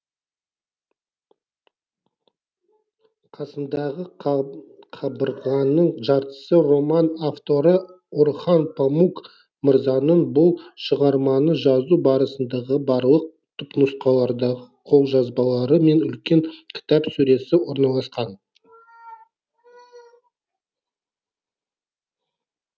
қасымдағы қабырғаның жартысы роман авторы орхан памук мырзаның бұл шығарманы жазу барысындағы барлық түпнұсқалардағы қолжабалары мен үлкен кітап сөресі орналасқан